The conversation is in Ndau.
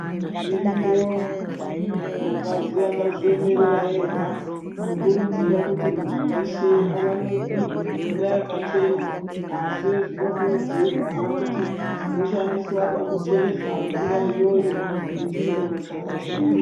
Dziriyo mapazi akazviyemerera ega kukurudzira kuti muntu weshe awanikirwe mvura yakachena, asi zvinokurudzirwa kuti chinoshandiswa pakucheresa mvura iyoyo chingewo chakachena.